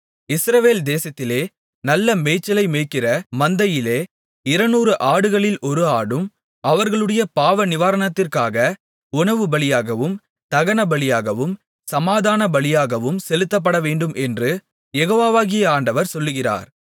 இஸ்ரவேல் தேசத்திலே நல்ல மேய்ச்சலை மேய்கிற மந்தையிலே இருநூறு ஆடுகளில் ஒரு ஆடும் அவர்களுடைய பாவநிவாரணத்திற்காக உணவுபலியாகவும் தகனபலியாகவும் சமாதானபலியாகவும் செலுத்தப்படவேண்டுமென்று யெகோவாகிய ஆண்டவர் சொல்லுகிறார்